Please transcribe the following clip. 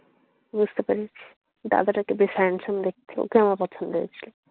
বুঝতে পেরেছি, দাদাটাকে দেখে handsome লাগছিল। ওকেও আমার পছন্দ হয়েছিল।